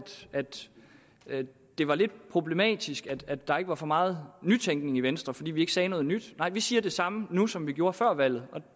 det var lidt problematisk at der ikke var så meget nytænkning i venstre altså fordi vi ikke sagde noget nyt nej vi siger det samme nu som vi gjorde før valget